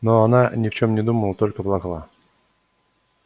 но она ни в чём не думала только плакала